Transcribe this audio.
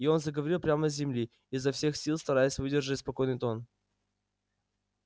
и он заговорил прямо с земли изо всех сил стараясь выдержать спокойный тон